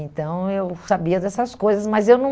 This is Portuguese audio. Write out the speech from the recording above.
Então, eu sabia dessas coisas, mas eu não...